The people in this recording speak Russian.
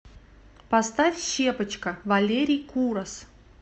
поставь щепочка валерий курас